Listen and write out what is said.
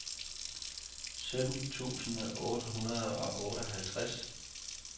sytten tusind otte hundrede og femoghalvtreds